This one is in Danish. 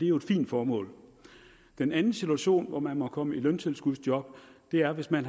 jo et fint formål den anden situation hvor man må komme i løntilskudsjob er hvis man